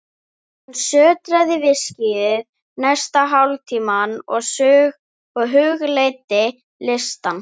Hann sötraði viskíið næsta hálftímann og hugleiddi listann.